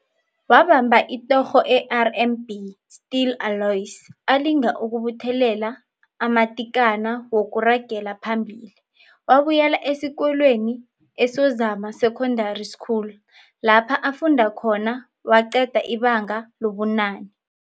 Wabamba itorho e-RMB Steel alloys alinga ukubuthelela amatikana wokuragela phambili, wabuyela esikolweni eSozama Secondary School lapha afunda khona waqeda ibanga lobunane.